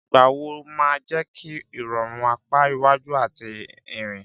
Ìgbọ̀nwọ́ máa ń jẹ́ kí ìrọ̀rùn apá iwájú àti ìrìn.